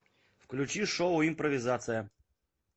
включи шоу импровизация